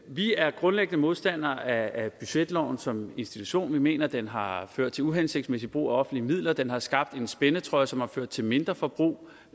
vi er grundlæggende modstandere af budgetloven som institution vi mener den har ført til uhensigtsmæssig brug af offentlige midler den har skabt en spændetrøje som har ført til mindre forbrug